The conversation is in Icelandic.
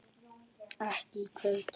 Ekki í kvöld.